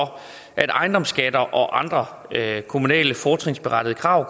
at ejendomsskatter og andre kommunale fortrinsberettigede krav